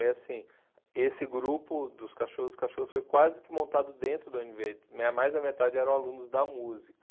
Aí, assim, esse grupo dos Cachorros dos Cachorros foi quase que montado dentro da u ene bê, mais da metade eram alunos da música.